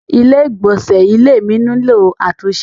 Ilé ìgbọ̀nsẹ́ ilé mi nílò àtúnṣe.